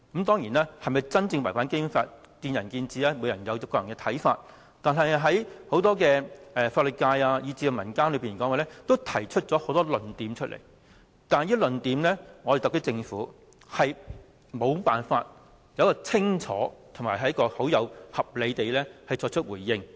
當然，是否真正違反《基本法》見仁見智，各人有各自的看法，但對於法律界和民間提出的很多論點，特區政府均無法清楚、合理地作出回應。